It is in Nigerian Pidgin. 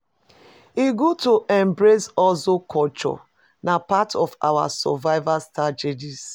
E good to embrace hustle culture; na part of our survival strategy.